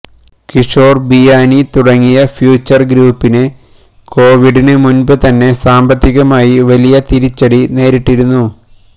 കിഷോർ ബിയാനി തുടങ്ങിയ ഫ്യൂച്ചർ ഗ്രൂപ്പിന് കൊവിഡിന് മുൻപ് തന്നെ സാമ്പത്തികമായി വലിയ തിരിച്ചടി നേരിട്ടിരുന്നു